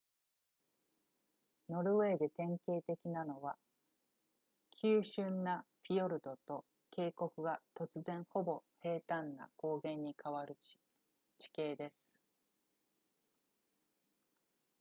ノルウェーで典型的なのは急峻なフィヨルドと渓谷が突然ほぼ平坦な高原に変わる地形です